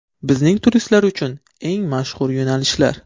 Bizning turistlar uchun eng mashhur yo‘nalishlar.